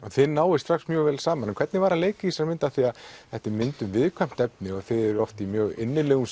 þið náið strax mjög vel saman hvernig var að leika í þessari mynd af því að þetta er mynd um viðkvæmt efni og þið eruð oft í mjög innilegum